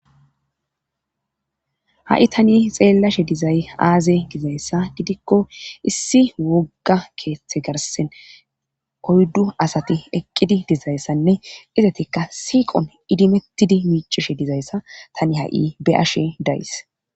Ha7i tani xeellashe dizay aaze dizayssa gidikko issi wogga keeththe garsen oyddu asati eqqidi dizayssanne izatikka siiqon idimettidi miicishe dizayssa tani ha7i be'ashe days.